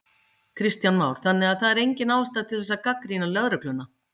Kristján Már: Þannig að það er engin ástæða til þess að gagnrýna lögregluna?